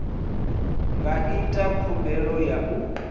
nga ita khumbelo ya u